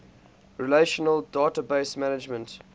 relational database management